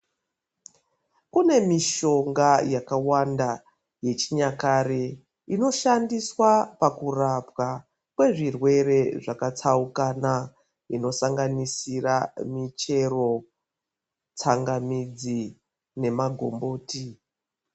Kune mishonga yakawanda yechinyakare inoshandiswa pakurapwa kwezvirwere zvakatsaukana inosanganisira michero tsangamidzi nemagomboti .